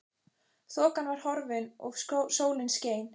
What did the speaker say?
Þokan var horfin og sólin skein.